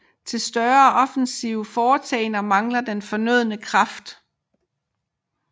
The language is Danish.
Til større offensive foretagender manglede den fornødne kraft